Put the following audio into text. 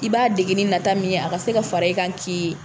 I b'a dege ni nata min ye, a ka se ka fara i ka k'i